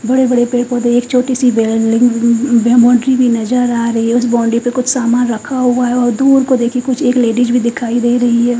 बड़े बड़े पेड़ पौधे एक छोटी सी वैन लेकिन वह बाउंड्री नजर आ रही है उस बाउंड्री पे कुछ सामान रखा हुआ है और दूर को देखिए कुछ एक लेडीज भी दिखाई दे रही है।